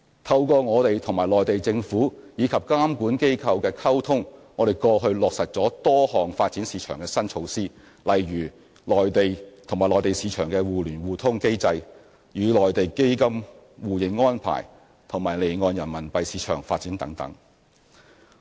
透過我們與內地政府及監管機構的溝通，我們過去落實了多項發展市場的新措施，例如與內地市場的互聯互通機制、與內地基金互認安排及離岸人民幣市場的發展等。